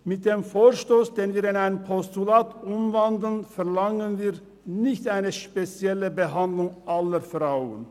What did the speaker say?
Mit dem Vorstoss, den wir in ein Postulat umwandeln, verlangen wir nicht eine spezielle Behandlung aller Frauen.